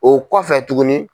O kɔfɛ tuguni.